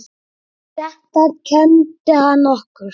Þetta kenndi hann okkur.